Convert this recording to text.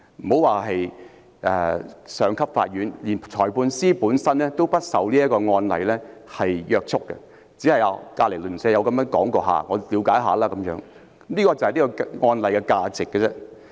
莫說是上級法院，連裁判法院本身亦不受這個案例約束，就好像鄰居曾經這樣說過，我便了解一下，僅此而已，這就是此案例的價值。